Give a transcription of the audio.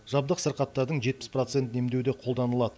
жабдық сырқаттардың жетпіс процентін емдеуде қолданылады